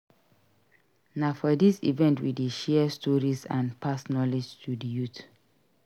Na for this event we dey share stories and pass knowledge to di youth.